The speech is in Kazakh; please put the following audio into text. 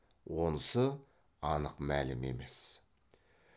онысы анық мәлім емес